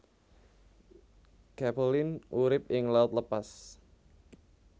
Capelin urip ing laut lepas